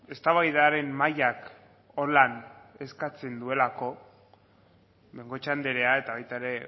eztabaidaren mahaiak holan eskatzen duelako de bengoechea andrea eta baita ere